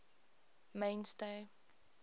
mainstay